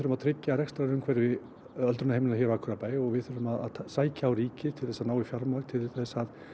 að tryggja rekstrarumhverfi öldrunarheimila hér hjá Akureyrarbæ og við þurfum að sækja á ríkið til þess að ná í fjármagn til þess